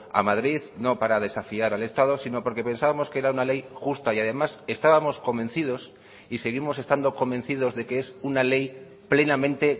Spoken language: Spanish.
a madrid no para desafiar al estado sino porque pensábamos que era una ley justa y además estábamos convencidos y seguimos estando convencidos de que es una ley plenamente